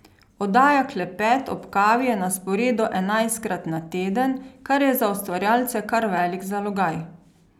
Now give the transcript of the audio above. Oddaja Klepet ob kavi je na sporedu enajstkrat na teden, kar je za ustvarjalce kar velik zalogaj.